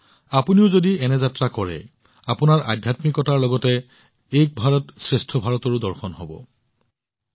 যদি আপোনালোকো এনে যাত্ৰাত যায় আপোনালোকৰ আধ্যাত্মিকতাৰ লগতে এক ভাৰতশ্ৰেষ্ঠ ভাৰতৰ দৰ্শনো হব